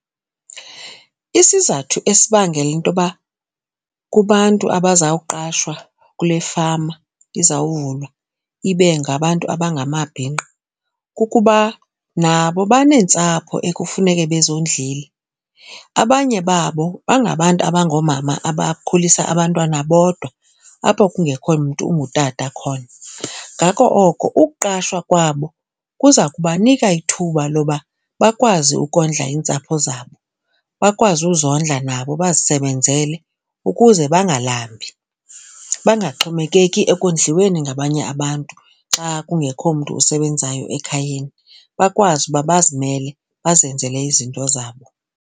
Isizathu esibangela intoba kubantu abazawuqashwa kule fama izawuvulwa ibe ngabantu abangamabhinqa kukuba nabo baneentsapho ekufuneke bezondlile. Abanye babo bangabantu abangoomama abakhulisa abantwana bodwa apho kungekho mntu ungutata khona. Ngako oko ukuqashwa kwabo kuza kubanika ithuba loba bakwazi ukondla iintsapho zabo, bakwazi uzondla nabo bazisebenzele ukuze bangalambi bangaxhomekeki ekondliweni ngabanye abantu xa kungekho mntu usebenzayo ekhayeni. Bakwazi uba bazimele bazenzele izinto zabo.